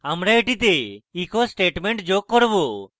আমি এটিতে একটি echo statement যোগ করব